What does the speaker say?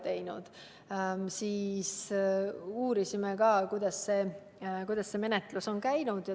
Me uurisime sedagi, kuidas see menetlus on käinud.